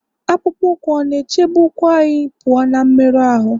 akpụkpọ ụkwụ ọ̀ na-echebe ụkwụ anyị pụọ ná mmerụ ahụ́?